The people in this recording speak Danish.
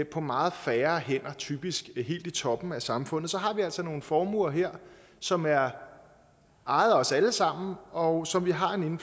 på meget færre hænder typisk helt i toppen af samfundet så har vi altså nogle formuer her som er ejet af os alle sammen og som vi har en